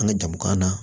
An ka jamu k'an na